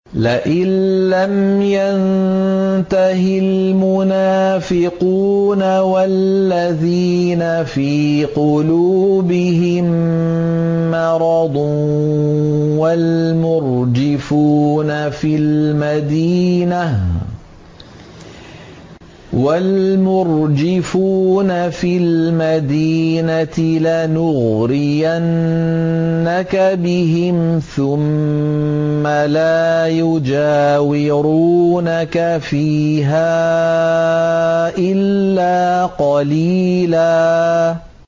۞ لَّئِن لَّمْ يَنتَهِ الْمُنَافِقُونَ وَالَّذِينَ فِي قُلُوبِهِم مَّرَضٌ وَالْمُرْجِفُونَ فِي الْمَدِينَةِ لَنُغْرِيَنَّكَ بِهِمْ ثُمَّ لَا يُجَاوِرُونَكَ فِيهَا إِلَّا قَلِيلًا